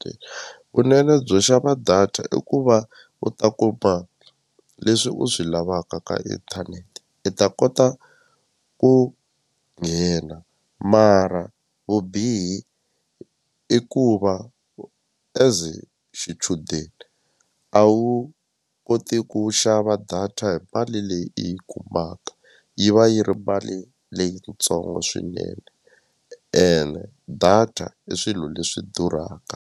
Vunene byo xava data i ku va u ta kuma leswi u swi lavaka ka inthanete i ta kota ku nghena mara vubihi i ku va as xichudeni a wu koti ku xava data hi mali leyi i yi kumaka yi va yi ri mali leyitsongo swinene ene data i swilo leswi durhaka.